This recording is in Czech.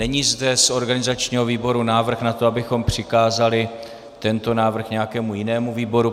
Není zde z organizačního výboru návrh na to, abychom přikázali tento návrh nějakému jinému výboru.